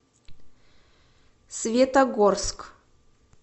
светогорск